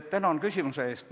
Tänan küsimuse eest!